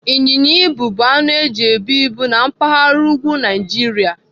Ịnyịnya ibu bụ anụ eji ebu ibu na mpaghara úgwú Naijiria.